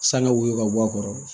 Sanga woyo ka bɔ a kɔrɔ